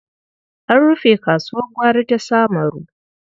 An rufe kasuwar gwari ta Samaru.